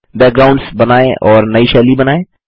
backgrounds बनाएँ और नई शैली बनाएँ